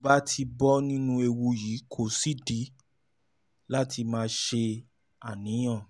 tó bá ti bọ́ nínú ewu yìí kò sídìí láti máa ṣàníyàn